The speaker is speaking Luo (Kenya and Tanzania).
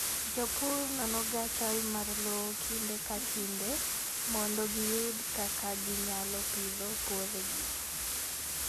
Jopur nonoga chal mar lowo kinde ka kinde mondo giyud kaka ginyalo pidho puothegi.